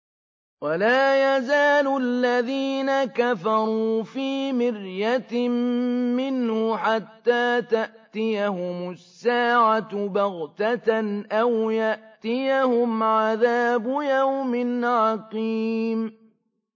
وَلَا يَزَالُ الَّذِينَ كَفَرُوا فِي مِرْيَةٍ مِّنْهُ حَتَّىٰ تَأْتِيَهُمُ السَّاعَةُ بَغْتَةً أَوْ يَأْتِيَهُمْ عَذَابُ يَوْمٍ عَقِيمٍ